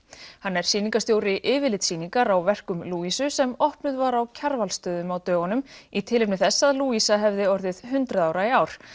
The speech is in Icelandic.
hann er sýningarstjóri yfirlitssýningar á verkum sem opnuð var á Kjarvalsstöðum á dögunum í tilefni þess að Louisa hefði orðið hundrað ára í ár